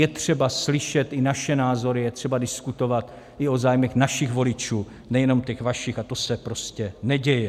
Je třeba slyšet i naše názory, je třeba diskutovat i o zájmech našich voličů, nejenom těch vašich, a to se prostě neděje.